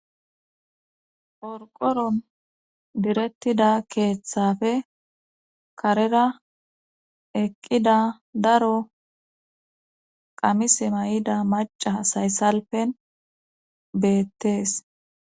Qorqoron direttida keeththafe karera eqqida daro qamis may7ida maca sayssalpen beettees